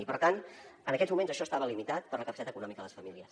i per tant en aquests moments això estava limitat per la capacitat econòmica de les famílies